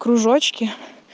кружочки